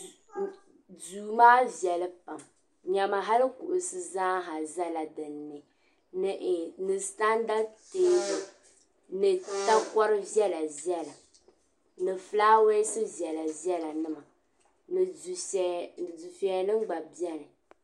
Duu maa viɛlli pam nya ma halli kuɣusi zaa zala din ni ni sitanda teebuli ni takori viɛla viɛla ni fulaawesi viɛla viɛlanima ni dufiɛya nim gba biɛni.